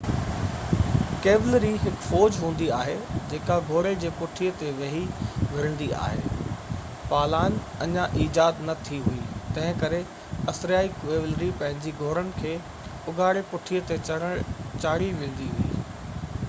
cavalry هڪ فوج هوندي آهي جيڪا گھوڙي جي پٺي تي ويهي وڙھندي آھي پالان اڃان ايجاد نه ٿي هئي تنهنڪري اسريائي ڪيولري پنهنجي گهوڙن جي اگهاڙي پٺي تي چڙهي وڙهندي هئي